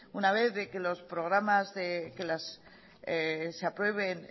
una vez de que se aprueben